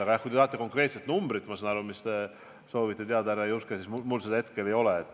Aga jah, kui te tahate konkreetset numbrit – ma saan aru, et te soovisite seda teada, härra Juske –, siis mul seda hetkel ei ole.